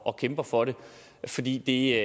og kæmper for det fordi det